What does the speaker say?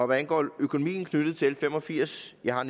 hvad angår økonomien knyttet til fem og firs jeg har